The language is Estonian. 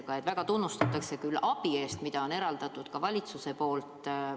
Samas väga tunnustatakse abi eest, mida valitsus on neile eraldanud.